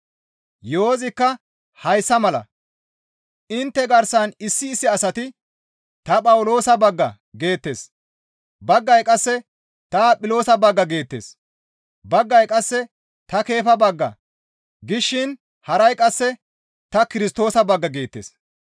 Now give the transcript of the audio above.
Yo7ozikka hayssa mala; intte garsan issi issi asati, «Ta Phawuloosa bagga» geettes; baggay qasse, «Ta Aphiloosa bagga» geettes; baggay qasse, «Ta Keefa bagga» gishin haray qasse, «Ta Kirstoosa bagga» geettes.